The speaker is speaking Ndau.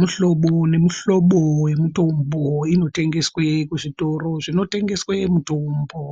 Mihlobo nemihlobo yemitombo inotengeswe kuzvitoro zvinotengeswe mutombo